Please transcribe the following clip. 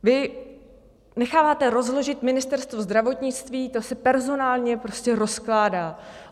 Vy necháváme rozložit Ministerstvo zdravotnictví, to se personálně prostě rozkládá.